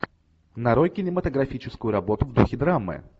нарой кинематографическую работу в духе драмы